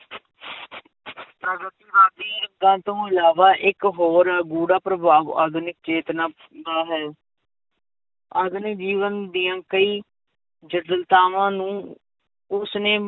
ਤੋਂ ਇਲਾਵਾ ਇੱਕ ਹੋਰ ਬੁਰਾ ਪ੍ਰਭਾਵ ਆਧੁਨਿਕ ਚੇਤਨਾ ਦਾ ਹੈ ਆਧੁਨਿਕ ਜੀਵਨ ਦੀਆਂ ਕਈ ਜਠਿਲਤਾਵਾਂ ਨੂੰ ਉਸਨੇ